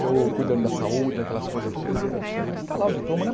eu cuidando da saúde, daquelas coisas tudo, eu falei, ah poxa, mas está lá o diploma, né?